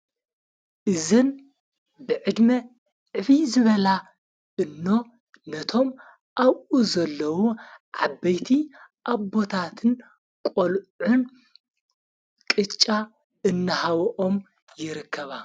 እዘን ብዕድሜ ዕፊ ዝበላ እኖ ነቶም ኣብኡ ዘለዉ ዓበይቲ ኣቦታትን ቖልዑን ቅጫ እናሃውኦም የረከባ።